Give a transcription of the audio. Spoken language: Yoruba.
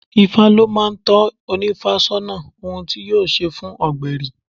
Ifá ló máa ń tọ́ ónífá sọ́nà ohun tí yóò ṣe fún ọgbẹri.